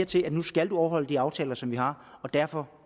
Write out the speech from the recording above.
til at du skal overholde de aftaler som vi har og derfor